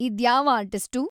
ಇದ್ಯಾವ್‌ artist